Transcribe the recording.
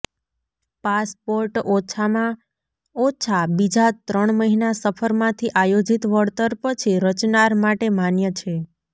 passport ઓછામાં ઓછા બીજા ત્રણ મહિના સફર માંથી આયોજિત વળતર પછી રચનાર માટે માન્ય છે